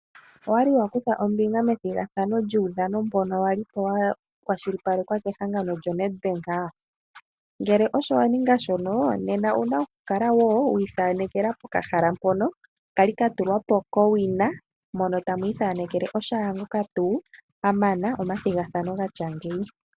Owa li wa kutha ombinga methigathano lyuudhano mbono wa lipo wa kwashilipalekwa kehangono lyoNed Bank? Ngele osho wa ninga shono nena owu na okukala wo wiithanekela pokahala mpono kwa li ka tulwapo kowina mono tamwi ithanekele shaangoka tuu a mana omathigathano gatya ngeyi.